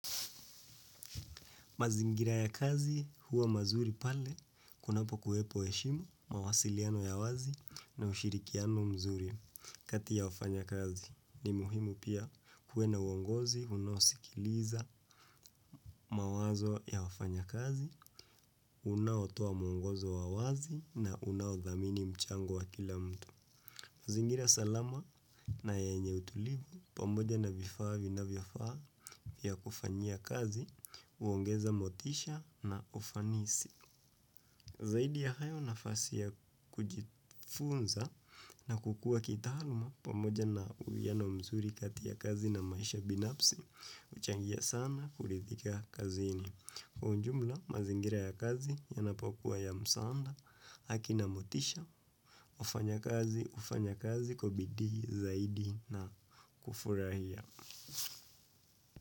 Mazingira ya kazi huwa mazuri pale, kunapo kuwepo heshima, mawasiliano ya wazi na ushirikiano mzuri kati ya wafanya kazi. Ni muhimu pia kuwena uongozi, unaosikiliza mawazo ya wafanya kazi, unaotoa mwongozo wa wazi na unaodhamini mchango wa kila mtu. Zingira salama na yenye utulivu pamoja na vifaa vinavyofaa vya kufanyia kazi, uongeza motisha na ufanisi. Zaidi ya hayo na fasi ya kujifunza na kukua kitaaluma pamoja na uwiano mzuri kati ya kazi na maisha binapsi, huchangia sana kurithika kazini. Kwa ujumla mazingira ya kazi yanapokuwa ya msaanda haki na motisha wafanya kazi hufanya kazi kwa bidii zaidi na kufurahia.